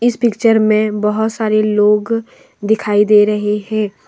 इस पिक्चर में बहुत सारे लोग दिखाई दे रहे हैं।